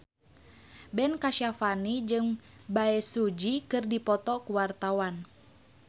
Ben Kasyafani jeung Bae Su Ji keur dipoto ku wartawan